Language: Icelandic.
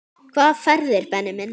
Hvaða ferðir Benni minn?